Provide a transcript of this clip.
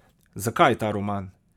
Zakaj ta roman?